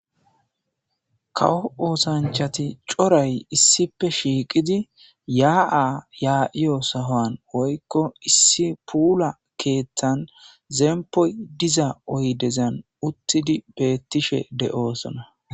Kawo osanichati cooray issipe shiqidi ya'a ya'eo sohani woy issi pula kethan zepoy diza oyidezan utidi betishe de'osona